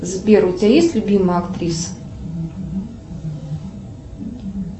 сбер у тебя есть любимая актриса